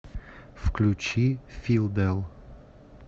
включи филдэл